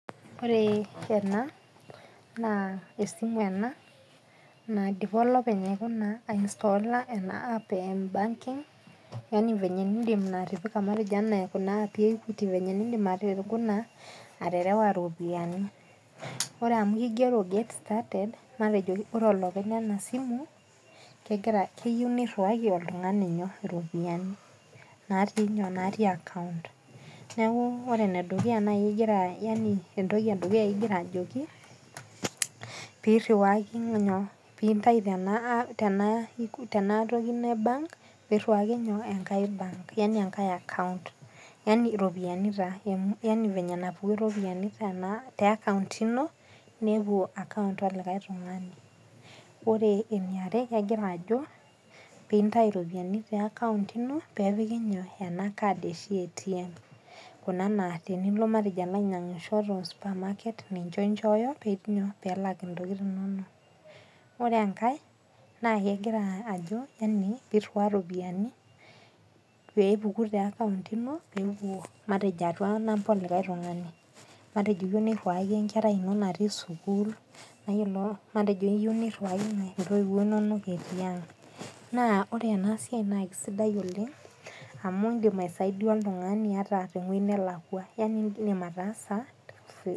Ore ena, naa esimu ena, naidipa olopeny aiinstola ena app M banking, anaa venye enindim atipika Kuna aapik e Equity, niindim aikuna aterewa iropiani. Ore amu keigero get started matejo ore olopeny Lena simu, keyou neiruwaki oltung'ani iropiani, natii akaount. Neaku ore ene dukuya naaji , yaani entoki e dukuya ingira ajoki pee iriwaki iropiani, pee intayu tena toki e bank, pee iriwaki enkai akaount. Yaani naiko pee epuku iropiani te akaount ino nepuo akaount olikai tung'ani. Ore ene are, egira ajo pee intayu iropiani te akaount ino, pee epiki ena kad eshipa e ATM . Kuna naa matejo tenilo alo ainyang'isho te supamaket, ninche inchooyo pee elak intokitin inono. Ore enkai naa kegira ajo, pee iruaya iropiani pee epuku te akaount ino peepuo matejo atua namba olikai tung'ani. Matejo iyou neiriwaki enkerai ino natii sukuul, matejo iyou neiriwaki intoiwo inono etii ang'. Naa ore ena siai naa keisidai oleng' amu indim aisaidia oltung'ani ata te wueji nelakwa yaani indim ataasa